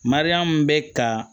Mariyamu bɛ ka